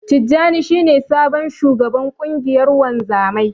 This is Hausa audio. Tijjani shi ne sabon shugaban ƙungiyar wanzamai.